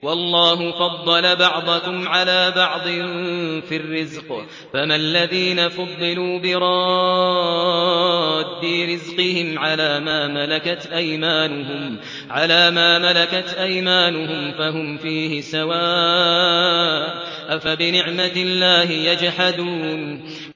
وَاللَّهُ فَضَّلَ بَعْضَكُمْ عَلَىٰ بَعْضٍ فِي الرِّزْقِ ۚ فَمَا الَّذِينَ فُضِّلُوا بِرَادِّي رِزْقِهِمْ عَلَىٰ مَا مَلَكَتْ أَيْمَانُهُمْ فَهُمْ فِيهِ سَوَاءٌ ۚ أَفَبِنِعْمَةِ اللَّهِ يَجْحَدُونَ